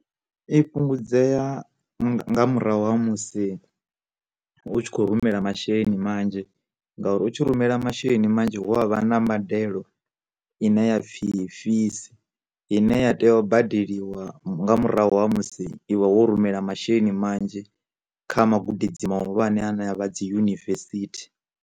I fhungudzea nga murahu ha musi u tshi kho rumela masheleni manzhi, ngauri u tshi rumela masheleni manzhi hu a vha na mbadelo ine yapfi fees, ine ya tea u badeliwa nga murahu ha musi iwe wo rumela masheleni manzhi kha magudedzi maḓuvha ane a ne a vha dzi yunivesithi.